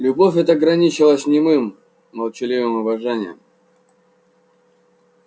любовь эта граничила с немым молчаливым обожанием